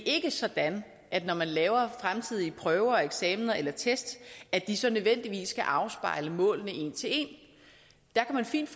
ikke sådan når man laver fremtidige prøver eksamener eller test at de så nødvendigvis skal afspejle målene en til en der kan man fint